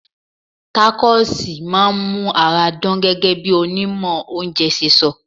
Tacos máa ń mú ara dán gẹ́gẹ́ bí onímọ̀ oúnjẹ ṣe sọ.